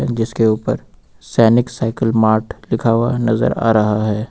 जिसके ऊपर Sainik cycle mart लिखा हुआ है नजर आ रहा है।